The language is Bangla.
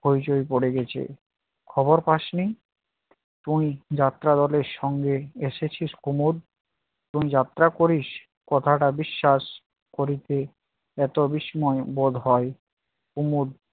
হইচই পড়ে গেছে। খবর পাসনি? কোন যাত্রা দলের সঙ্গে এসেছিস কুমদ? তুই যাত্রা করিস কথাটা বিশ্বাস করিতে এত বিস্ময় বোধ হয়! কুমদ